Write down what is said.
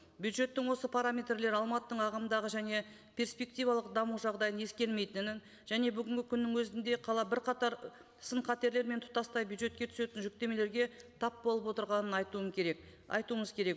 бюджеттің осы параметрлері алматының ағымдағы және перспективалық даму жағдайын ескермейтінін және бүгінгі күннің өзінде қала бірқатар сын қатерлер мен тұтастай бюджетке түсетін жүктемелерге тап болып отырғанын айтуым керек айтуымыз керек